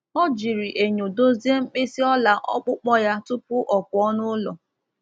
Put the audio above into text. Ọ jiri enyo dozie mkpịsị ọla ọkpụkpọ ya tupu ọ pụọ n’ụlọ.